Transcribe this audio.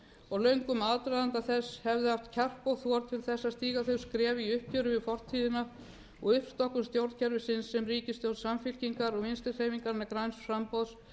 og löngum aðdraganda þess hefðu haft kjark og þor til að stíga þau skref í uppgjöri við fortíðina og uppstokkun stjórnkerfisins sem ríkisstjórn samfylkingar og vinstri hreyfingarinnar græns framboðs